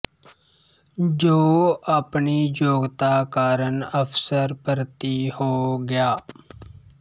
ਜੋ ਆਪਣੀ ਯੋਗਤਾ ਕਾਰਨ ਅਫ਼ਸਰ ਭਰਤੀ ਹੋ ਗਿਆ